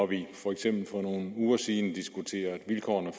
vi for eksempel for nogle uger siden diskuterede vilkårene